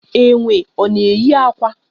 Enwe ọ na eyi akwa?